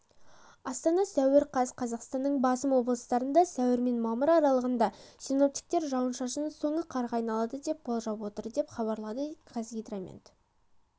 астана сәуір қаз қазақстанның басым облыстарында сәуір мен мамыр аралығында синоптиктер жауынның соңы қарға айналады деп болжап отыр деп хабарлады қазгидромет